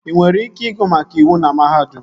Ị nwere ike ịgụ maka iwu na mahadum